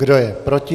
Kdo je proti?